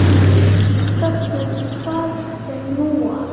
Þöggun, hvað er nú það?